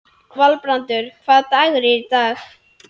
Valbrandur, hvaða dagur er í dag?